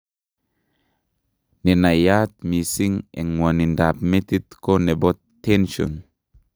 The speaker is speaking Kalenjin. Nenaiyat mising eng' ng'wonindab metit ko nebo tension